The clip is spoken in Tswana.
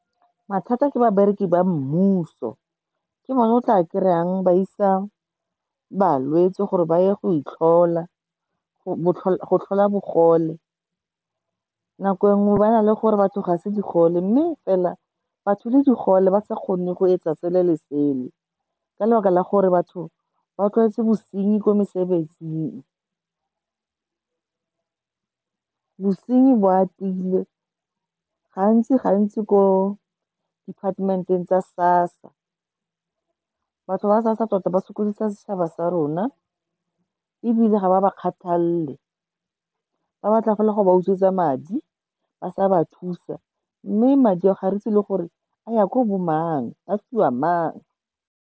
Mathata ke babereki ba mmuso, ke bona o tla kry-ang ba isa balwetse gore ba ye go tlhola bogole. Nako e nngwe ba na le gore batho ga se digole, mme fela batho e le digole, ba sa kgone go etsa sele le sele ka lebaka la gore batho ba tlwaetse bosenyi kwa mesebetsing. Bosenyi bo atile gantsi-gantsi ko department-eng tsa SASSA. Batho ba SASSA tota ba sokodisa setšhaba sa rona, ebile ga ba ba kgathalele. Ba ba tla fela gore ba utswetswa madi ba sa ba thusa, mme madi a o ga re itse le gore a ya ko bo mang, a fiwa mang.